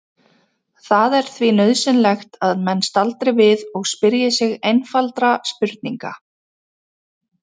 Það er því nauðsynlegt að menn staldri við og spyrji sig einfaldra spurninga